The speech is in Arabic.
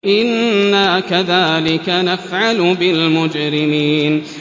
إِنَّا كَذَٰلِكَ نَفْعَلُ بِالْمُجْرِمِينَ